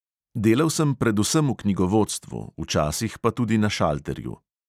Delal sem predvsem v knjigovodstvu, včasih pa tudi na šalterju.